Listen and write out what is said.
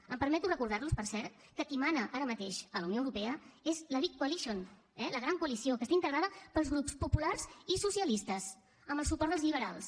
em permeto recordar los per cert que qui mana ara mateix a la unió europea és la big coalition eh la gran coalició que està integrada pels grups populars i socialistes amb el suport dels liberals